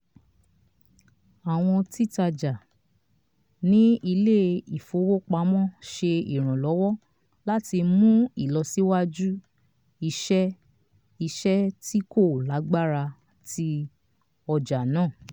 àwọn títajà ní ilé ìfowópamọ́ ṣe ìrànlọ́wọ́ láti mú ìlọsíwájú iṣẹ́ iṣẹ́ tí kò lágbára ti ọjà náà